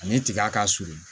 Ani tiga ka surun